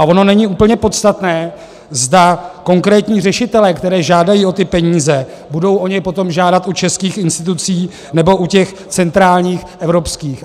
A ono není úplně podstatné, zda konkrétní řešitelé, kteří žádají o ty peníze, budou o ně potom žádat u českých institucí, nebo u těch centrálních evropských.